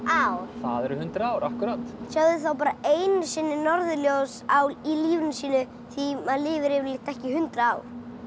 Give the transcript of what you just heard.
það eru hundrað ár akkúrat sjá þau bara einu sinni norðurljós í lífinu sínu því maður lifir yfirleitt ekki í hundrað ár